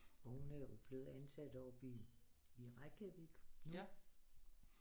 Hun er jo blevet ansat oppe i Reykjavik nu